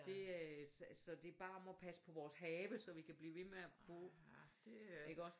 Det øh så så det bare om at passe på vores have så vi kan blive ved med at få ik også